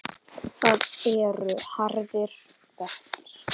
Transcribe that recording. Það eru harðir verkir.